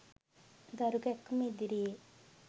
දරු කැක්කුම ඉදිරියෙ